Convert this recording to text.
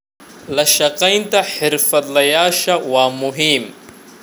La shaqaynta xirfadlayaasha waa muhiim.